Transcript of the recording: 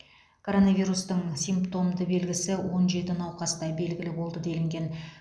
коронавирустың симптомды белгісі он жеті науқаста белгілі болды делінген